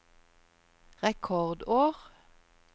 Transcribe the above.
rekordår